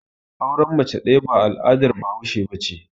Auren mace ɗaya ba al'adar bahaushe ba ce.